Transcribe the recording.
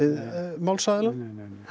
málsaðila neineinei